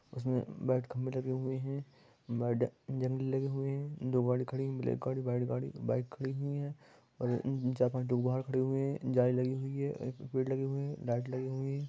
उसमे बड खंभे लगे हुए है बड जंगल लगे हुए है दो बड खड़ी है एक और बड गाड़ी बाइक खड़ी हुई है और हम्म चार पाँच ठो लोग बाहर खड़े हुए है जाली लगी हुई है एक पेड़ लगे हुए है लाइट लगी हुई है।